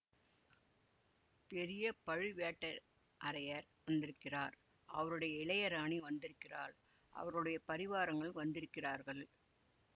பெரிய பழுவேட்ட அரையர் வந்திருக்கிறார் அவருடைய இளையராணி வந்திருக்கிறாள் அவர்களுடைய பரிவாரங்கள் வந்திருக்கிறார்கள்